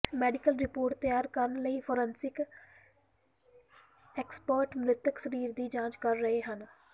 medical report ਤਿਆਰ ਕਰਨ ਲਈ ਫਾਰਿੰਸਿਕ ਐਕਸਪਰਟ ਮ੍ਰਿਤਕ ਸਰੀਰ ਦੀ ਜਾਂਚ ਕਰ ਰਹੇ ਹਨ